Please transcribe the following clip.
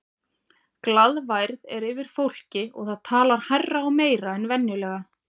Glaðværð er yfir fólki og það talar hærra og meira en venjulega.